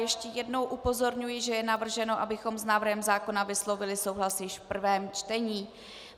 Ještě jednou upozorňuji, že je navrženo, abychom s návrhem zákona vyslovili souhlas již v prvém čtení.